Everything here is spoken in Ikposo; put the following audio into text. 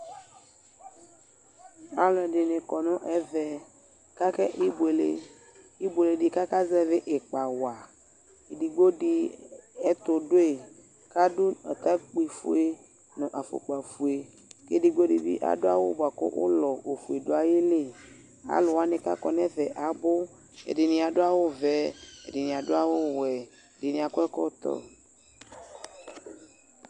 Alʋ ɛdɩnɩ kɔ nʋ ɛvɛ kʋ akebʋele ɩbʋele dɩ bʋakʋ aka zɛvɩ ɩkpa wa Edigbo dɩ ɛtʋ dʋyi, kʋ adʋ atakpɩ ofue nʋ afukpa ofue, kʋ edigbo dɩ bɩ adʋ aɣʋ bʋakʋ ʋlɔ ofue dʋ ayu ili Alʋ wanɩ bʋa kʋ akɔ nʋ ɛfɛ abʋ : ɛdɩnɩ adʋ aɣʋ ɔvɛ, ɛdɩnɩ adʋ aɣʋ ɔwɛ, ɛdɩnɩ akɔ ɛkɔtɔ